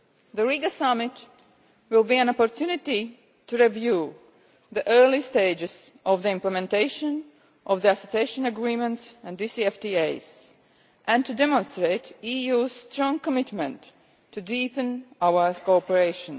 The Riga Summit will be an opportunity to review the early stages of the implementation of Association Agreements and DCFTAs and to demonstrate the EU's strong commitment to deepening our cooperation.